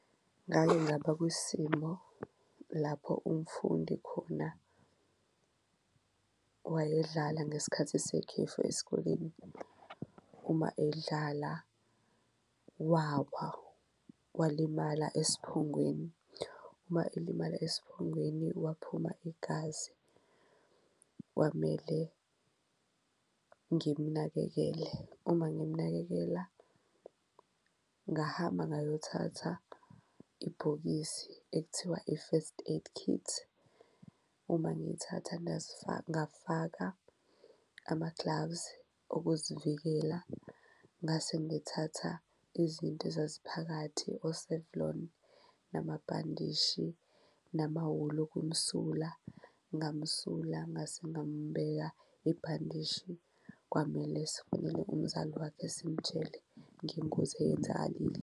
Ngake ngaba kwisimo lapho umfundi khona owayedlala ngesikhathi sekhefu esikoleni, uma edlala wawa walimala esiphongweni. Uma elimala esiphongweni waphuma igazi kwamele ngimnakekele, uma ngimnakekela ngahamba ngayothatha ibhokisi ekuthiwa i-first aid kit. Uma ngiyithatha ngafaka ama-gloves okuzivikela ngase ngithatha izinto ezaziphakathi o-Savlon, namabhandishi, namawuli okumsula ngamsula ngase ngambeka ibhandishi kwamele sifonele umzali wakhe simtshele ngengozi eyenzakalile.